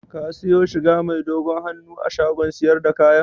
Ka siyo shiga mai dogon hannun a shagon siyar da kayan?